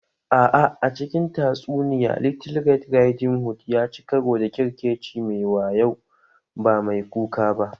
A'a, a cikin tatsuniya, Little Red Riding Hood ya ci karo da ƙyerkeci mai wayo, ba mai kuka ba.